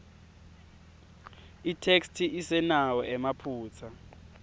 itheksthi isenawo emaphutsa